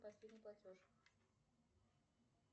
последний платеж